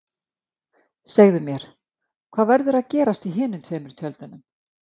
Segðu mér, hvað verður að gerast í hinum tveimur tjöldunum?